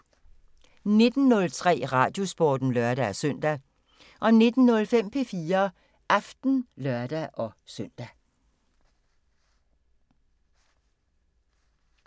19:03: Radiosporten (lør-søn) 19:05: P4 Aften (lør-søn)